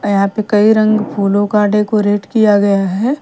अ यहाँ पे कई रंग फूलों का डेकोरेट किया गया हैं।